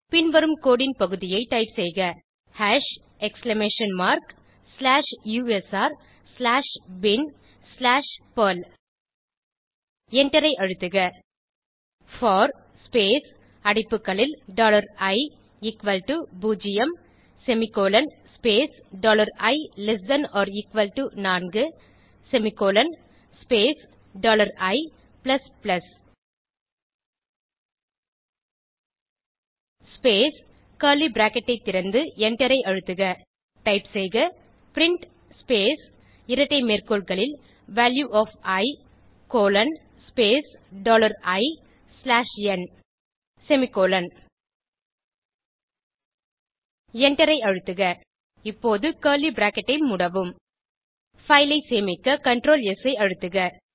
பின்வரும் கோடு ன் பகுதியைத் டைப் செய்கhash exclamation mark slash U S R slash bin slash perl எண்டரை அழுத்துக போர் ஸ்பேஸ் அடைப்புகளில் டாலர் இ எக்குவல் டோ பூஜ்ஜியம் semicolon space dollar I less than or equal to நான்கு semicolon space dollar I plus plus space curly bracket ஐ திறந்து எண்டரை அழுத்துக type செய்க பிரின்ட் ஸ்பேஸ் இரட்டை மேற்கோள்களில் value of I colon space dollar I slash N semicolon எண்டரை அழுத்துக இப்போது கர்லி பிராக்கெட் ஐ மூடவும் பைல் ஐ சேமிக்க CtrlS ஐ அழுத்துக